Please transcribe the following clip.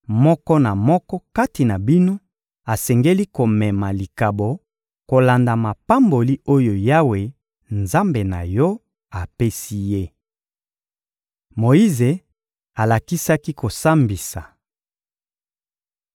moko na moko kati na bino asengeli komema likabo kolanda mapamboli oyo Yawe, Nzambe na yo, apesi ye. Moyize alakisaki kosambisa